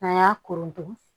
N'an y'a koronto